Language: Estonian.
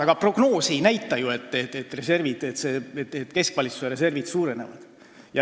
Aga prognoos ei näita ju, et keskvalitsuse reservid suurenevad.